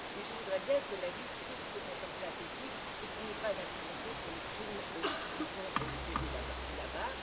Mais je voudrais que la justice se mette en place aussi et qu'il n'y ait pas d'impunité pour les crimes qui se sont déroulés là